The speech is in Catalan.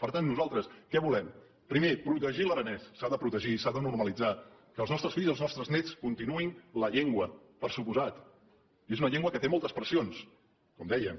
per tant nosaltres què volem primer protegir l’aranès s’ha de protegir i s’ha de normalitzar que els nostres fills i els nostres néts continuïn la llengua per descomptat i és una llengua que té moltes pressions com dèiem